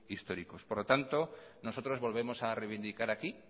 históricos por lo tanto nosotros volvemos a reivindicar aquí